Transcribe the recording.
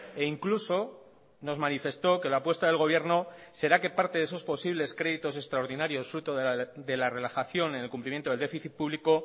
e incluso nos manifestó que la apuesta del gobierno será que parte de esos posibles créditos extraordinarios fruto de la relajación en el cumplimiento del déficit público